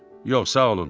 Yox, sağ olun.